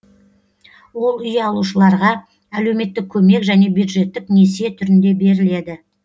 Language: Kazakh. ол үй алушыларға әлеуметтік көмек және бюджеттік несие түрінде беріледі